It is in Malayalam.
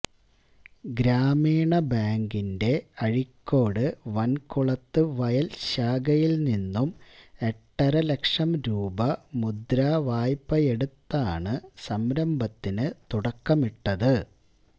ഗ്രാമീണ ബാങ്കിന്റെ അഴീക്കോട് വന്കുളത്ത് വയല് ശാഖയില് നിന്നും എട്ടര ലക്ഷം രൂപ മുദ്രാവായ്പയെടുത്താണ് സംരംഭത്തിന് തുടക്കമിട്ടത്